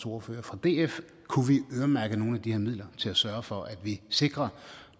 ordføreren fra df kunne vi øremærke nogle af de her midler til at sørge for at vi sikrer